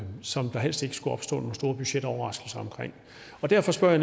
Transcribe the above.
som der helst ikke skulle opstå nogle store budgetoverraskelser omkring derfor spørger